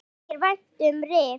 Mér þykir vænt um Rif.